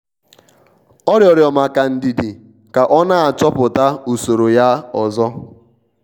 ọ rịorọ maka ndidi ka ọ na-achọpụta usoro ya ozo.